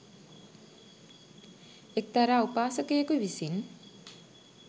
එක්තරා උපාසකයෙකු විසින්